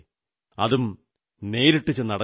അതും നേരിട്ടു ചെന്ന് അടച്ചത്